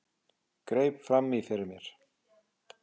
Greip fram í fyrir mér.